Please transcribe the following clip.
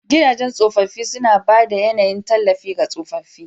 Gidajen tsofaffi suna ba da yAnayin tallafi ga tsofaffi.